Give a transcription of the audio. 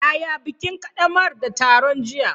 Yaya bikin ƙaddamar da taron jiya?